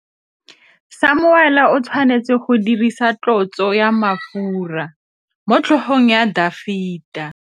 Samuele o tshwanetse go dirisa tlotsô ya mafura motlhôgong ya Dafita.